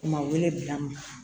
Maa wele bila n ma